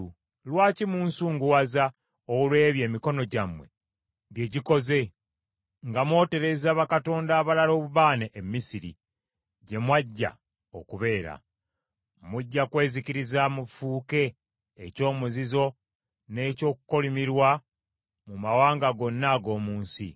Lwaki munsunguwaza olw’ebyo emikono gyammwe bye gikoze, nga mwotereza bakatonda abalala obubaane e Misiri, gye mwajja okubeera? Mujja kwezikiriza mufuuke eky’omuzizo n’eky’okukolimirwa mu mawanga gonna ag’omu nsi.